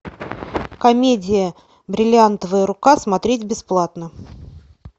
комедия бриллиантовая рука смотреть бесплатно